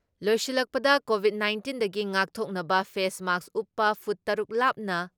ꯂꯣꯏꯁꯤꯜꯂꯛꯄꯗ ꯀꯣꯚꯤꯠ ꯅꯥꯏꯟꯇꯤꯟꯗꯒꯤ ꯉꯥꯛꯊꯣꯛꯅꯕ ꯐꯦꯁ ꯃꯥꯛꯁ ꯎꯞꯄ, ꯐꯨꯠ ꯇꯔꯨꯛ ꯂꯥꯞꯅ